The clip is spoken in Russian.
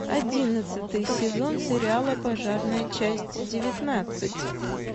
одиннадцатый сезон сериала пожарная часть девятнадцать